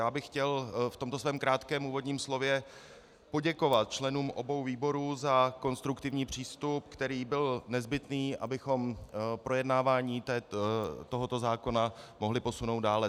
Já bych chtěl v tomto svém krátkém úvodním slově poděkovat členům obou výborů za konstruktivní přístup, který byl nezbytný, abychom projednávání tohoto zákona mohli posunout dále.